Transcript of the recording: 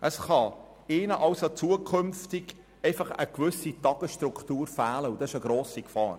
Es kann ihnen daher inskünftig eine gewisse Tagesstruktur fehlen, und das ist eine grosse Gefahr.